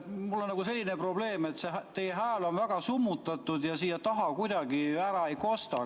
Mul on selline probleem, et teie hääl on väga summutatud ja siia taha kuidagi ära ei kosta.